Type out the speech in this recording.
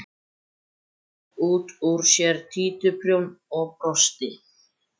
Tók út úr sér títuprjón og brosti.